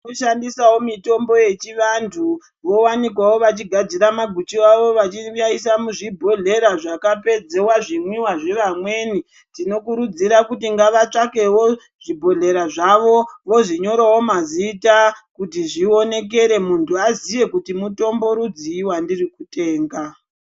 Kushandisawo mitombo yechivantu vowanikwawo vachigadzira maguchu awo vachiaisa muzvibhohlera zvakapedziwa zvimwiwa zveamweni tinokurudzira kuti ngavatsvakewo zvibhodhlera zvavo vozvinyorawo mazita kuti zvionekere muntu aziye kuti mutombo rudzii wandiri kutenga.